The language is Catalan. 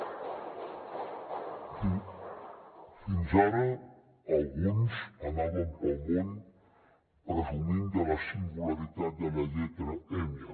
fins ara alguns anaven pel món presumint de la singularitat de la lletra enya